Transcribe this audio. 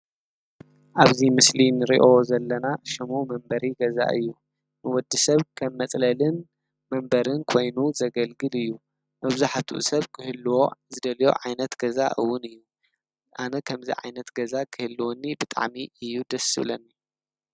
ኣብዚ ምስሊ ንሪኦ ዘለና ሽሙ መንበሪ ገዛ እዩ። ንወዲ ሰብ ከም መፅለልን መንበርን ኮይኑ ዘገልግል እዩ። መብዛሕቱኡ ሰብ ክህልዎ ዝደልዮ ዓይነት ገዛ ውን እዩ። ኣነ ከምዚ ዓይነት ገዛ ክህልወኒ ብጣዕሚ እዩ ደስ ዝብለኒ።